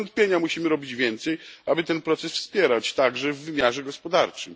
Bez wątpienia musimy robić więcej, aby ten proces wspierać, także w wymiarze gospodarczym.